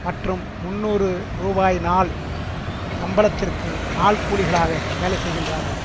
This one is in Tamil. மற்றும் முன்னூறு ரூபாய் நாள் சம்பளத்திற்கு நாள் கூலிகளாக வேலை செய்கின்றார்கள்